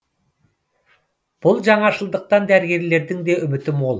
бұл жаңашылдықтан дәрігерлердің де үміті мол